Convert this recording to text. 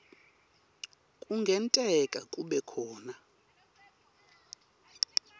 kungenteka kube khona